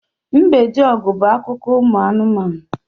Mbediogu' bu akụkọ anumanu